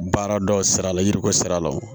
Baara dɔ sira la yiriko sira la